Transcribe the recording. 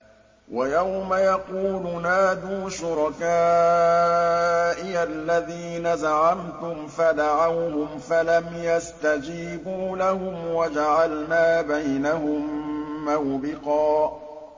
وَيَوْمَ يَقُولُ نَادُوا شُرَكَائِيَ الَّذِينَ زَعَمْتُمْ فَدَعَوْهُمْ فَلَمْ يَسْتَجِيبُوا لَهُمْ وَجَعَلْنَا بَيْنَهُم مَّوْبِقًا